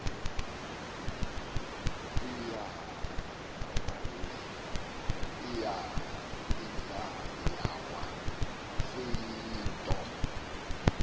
inja yawa seyiyinto